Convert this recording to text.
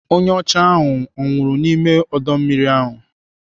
Onye ọcha ahụ ọ nwụrụ n'ime ọdọ mmiri ahụ?